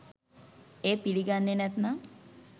එය පිළිගන්නේ නැත්තම්